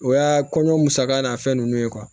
O y'a kɔɲɔ musaka n'a fɛn nunnu ye